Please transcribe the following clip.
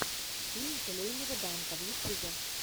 фильм желейного данка в ютюбе